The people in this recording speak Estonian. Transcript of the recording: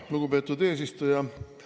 Lugupeetud eesistuja!